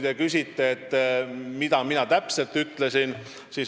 Te küsisite, mida mina täpselt ütlesin.